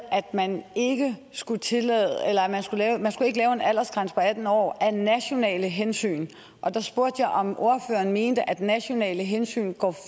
at man ikke skulle lave en aldersgrænse på atten år af nationale hensyn der spurgte jeg om ordføreren mente at nationale hensyn går